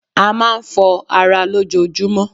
A máa ń fọ ara lójojúmọ́.